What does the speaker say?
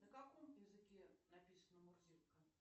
на каком языке написана мурзилка